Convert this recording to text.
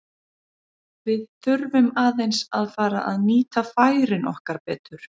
Við þurfum aðeins að fara að nýta færin okkar betur.